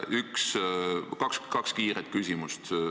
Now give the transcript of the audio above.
Kaks kiiret küsimust.